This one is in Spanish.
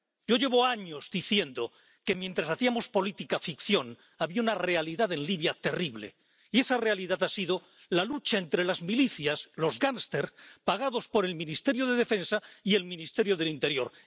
Yo llevo años diciendo que, mientras hacíamos política ficción, había una realidad en Libia terrible, y esa realidad ha sido la lucha entre las milicias, los gangsters pagados por el Ministerio de Defensa y el Ministerio del Interior.